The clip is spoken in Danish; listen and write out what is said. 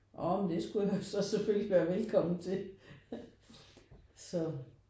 Når men det skulle jeg jo så selvfølgelig være velkommen til så